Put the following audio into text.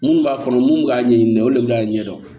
Minnu b'a kɔnɔ mun b'a ɲɛɲini olu de bɛ k'a ɲɛ dɔn